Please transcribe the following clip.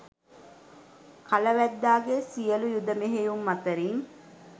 කල වැද්දාගේ සියලු යුධ මෙහෙයුම් අතරින්